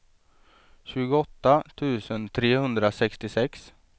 tjugoåtta tusen trehundrasextiosex